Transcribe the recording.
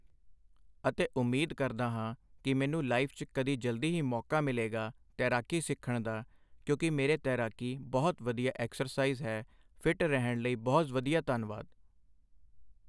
ਅਤੇ ਉਮੀਦ ਕਰਦਾ ਹਾਂ ਕਿ ਮੈਨੂੰ ਲਾਈਫ਼ 'ਚ ਕਦੀ ਜਲਦੀ ਹੀ ਮੌਕਾ ਮਿਲੇਗਾ ਤੈਰਾਕੀ ਸਿੱਖਣ ਦਾ ਕਿਉਂਕਿ ਮੇਰੇ ਤੈਰਾਕੀ ਬਹੁਤ ਵਧੀਆ ਐਕਸਸਾਈਜ਼ ਹੈ ਫਿੱਟ ਰਹਿਣ ਲਈ ਬਹੁਤ ਵਧੀਆ ਧੰਨਵਾਦ